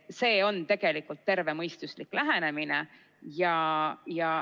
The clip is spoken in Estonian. See on tervemõistuslik lähenemine.